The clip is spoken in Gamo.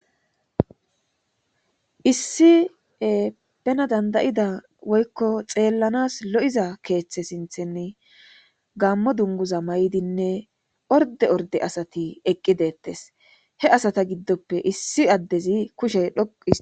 Issie bena dandayida woykko xeellanas lo'iza keeththe sinthenn gammo dunguza may'dinne orde orde asati eqqi deettes he asata giddoppe issi addezi kushe dhoqui.